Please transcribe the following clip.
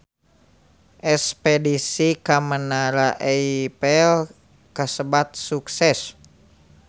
Espedisi ka Menara Eiffel kasebat sukses